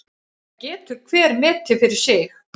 Það getur hver metið fyrir sig.